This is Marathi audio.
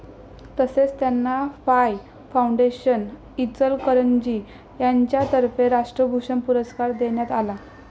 तसेच त्यांना फाय फाऊंडेशन, इचलकरंजी यांच्यातर्फे राष्ट्रभूषण पुरस्कार देण्यात आला.